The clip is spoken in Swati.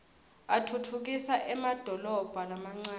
atfutfukisa emadolobha lamancane